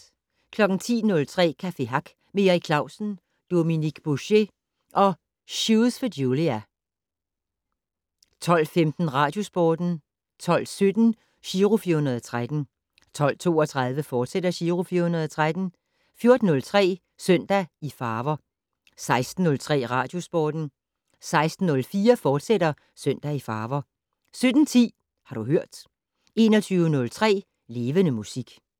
10:03: Café Hack med Erik Clausen, Dominique Bouchet og Shoes for Julia 12:15: Radiosporten 12:17: Giro 413 12:32: Giro 413, fortsat 14:03: Søndag i farver 16:03: Radiosporten 16:04: Søndag i farver, fortsat 17:10: Har du hørt 21:03: Levende Musik